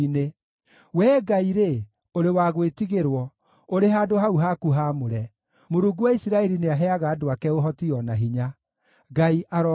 Wee Ngai-rĩ, ũrĩ wa gwĩtigĩrwo, ũrĩ handũ hau haku haamũre; Mũrungu wa Isiraeli nĩaheaga andũ ake ũhoti o na hinya. Ngai arogoocwo!